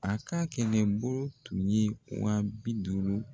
A ka kɛlɛbolo tun ye wa bi duuru